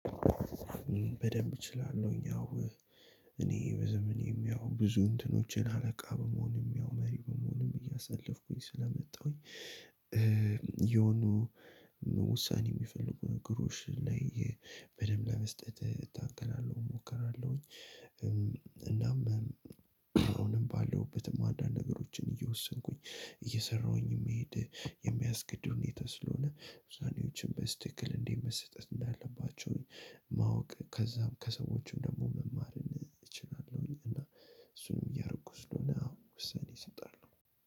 በደንብ እችላለሁኝ አዎ እኔ በዘመኔም ያው ብዙ እንትኖችን አለቃ በመሆንም ያው መሪ በመሆንም እያሳለፍኩኝ ስለመጣሁኝ። የሆኑ ውሳኔ የሚፈልጉ ነገሮችም ላይ በደንብ ለመስጠት እታገላለሁ እሞክራለሁኝ። እናም አሁንም ባለሁበትም አንዳንድ ነገሮችን እየወሰንኩኝ እየሰራሁኝ የምሄድ የሚያስገድዱ ሁኔታ ስለሆነ ውሳኔዎችን በትክክል እንዴት መስጠት እንዳለባቸው ማወቅ ከዛም ከሰዎችም ደግሞ መማር እችላለሁኝ። እና እሱንም እያረኩ ስለሆነ አሁን ውሰኔ እሰጣለሁ ነው።